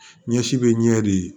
Ɲɛsi bɛ ɲɛ de